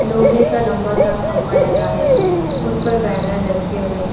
लोहे का लंबा सा खंभा लगा है उस पर बैनर लटके हुए हैं।